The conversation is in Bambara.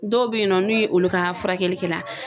Dɔw bɛ yen nɔ n'u ye olu ka furakɛli kɛla